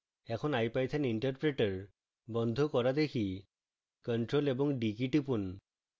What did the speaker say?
এখন ipython interpreter বন্ধ করা দেখি